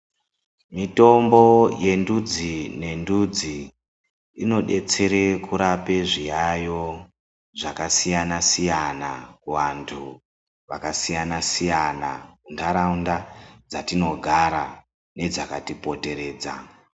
Mitombo yendudzi nendudzi inobetsere kurape zviyayo zvakasiyana-siyana, kuvantu vakasiyana-siyana, mundaraunda dzatinogara nedzakatipoteredza.